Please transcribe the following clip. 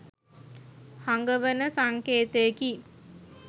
හඟවන සංකේතයකි.